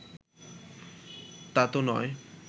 তা তো নয়